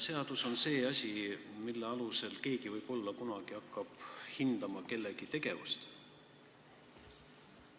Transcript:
Seadus on see asi, mille alusel keegi võib-olla kunagi hakkab hindama kellegi tegevust.